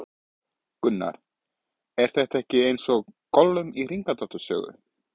Gunnar: Er þetta ekki eins og Gollum í Hringadróttinssögu?